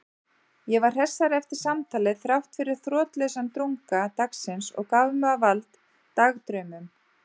Ég var hressari eftir samtalið þráttfyrir þrotlausan drunga dagsins og gaf mig á vald dagdraumum.